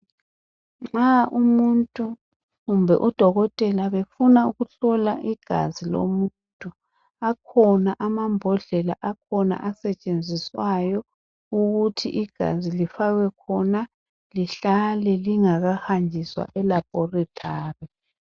Nxa umuntu kumbe udokotela befuna ukuhlola igazi lomuntu akhona amambodlela akhona asetshenziswayo ukuthi igazi lifakwe khona lihlale lingakahanjiswa e laboratory